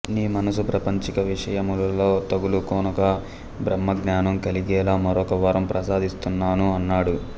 నీ మనస్సు ప్రాపంచిక విషయములలో తగులుకొనక బ్రహ్మజ్ఞానం కలిగేలా మరొక వరం ప్రసాదిస్తున్నాను అన్నాడు